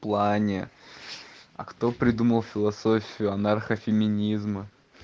плане а кто придумал философию анархо-феминизм